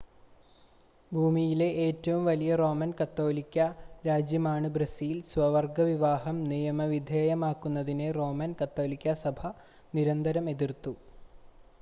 ഭൂമിയിലെ ഏറ്റവും വലിയ റോമൻ കത്തോലിക്കാ രാജ്യമാണ് ബ്രസീൽ സ്വവർഗ വിവാഹം നിയമവിധേയമാക്കുന്നതിനെ റോമൻ കത്തോലിക്കാ സഭ നിരന്തരം എതിർത്തു